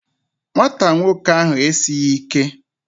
Nwata nwoke ahụ esighị ike